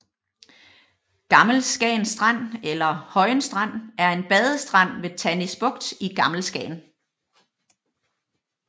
Gammel Skagen Strand eller Højen Strand er en badestrand ved Tannis Bugt i Gammel Skagen